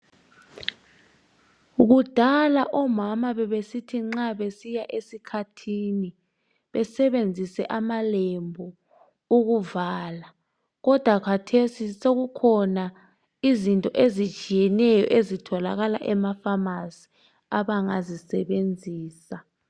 Kudala omama bebesithi nxa besiya esikhathini besebenzise amalembu ukuvala kodwa kathesi sekukhona izinto ezitshiyeneyo ezitholakala emafamasi abangazisebenzisa.